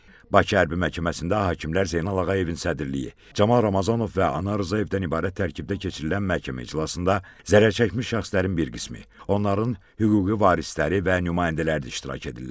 Bakı Hərbi Məhkəməsində hakimlər Zeynal Ağayevin sədrliyi, Camal Ramazanov və Anar Rzayevdən ibarət tərkibdə keçirilən məhkəmə iclasında zərər çəkmiş şəxslərin bir qismi, onların hüquqi varisləri və nümayəndələri də iştirak edirlər.